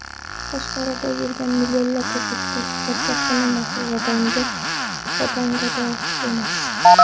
Tashqarida yurgan millionlab o‘zbekistonliklar sotqin emas, vatangado emas.